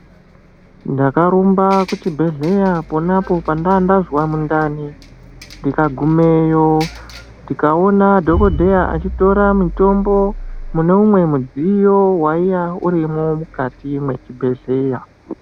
Ndakarumba kuchibhedhlera pona apo pandandazwa mundani ndikagumeyo ndikaona dhokodheya achitora mitombo mune umwe mudziyo waiya urimwo mukati muchibhedhlera.